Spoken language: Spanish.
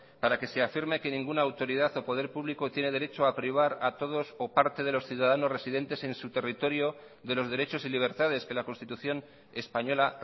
para que sea firme que ninguna autoridad o poder público tiene derecho a privar a todos o parte de los ciudadanos residentes en su territorio de los derechos y libertades que la constitución española